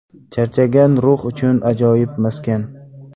Charchagan ruh uchun ajoyib maskan.